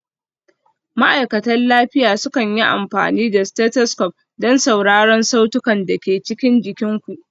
Ma'aikatan lafiya sukan yi amfani da stethoscope don sauraron sautunan da ke cikin jikin ku.